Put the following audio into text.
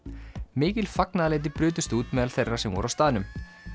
mikil fagnaðarlæti brutust út meðal þeirra sem voru á staðnum